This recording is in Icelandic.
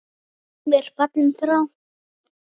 Gummi er fallinn frá.